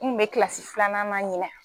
N kun be kilasi filanan na ɲinɛ